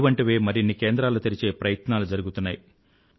ఇటువంటివే మరిన్ని కేంద్రాలు తెరిచే ప్రయత్నాలు జరుగుతున్నాయి